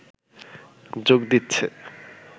যোগ দিচ্ছে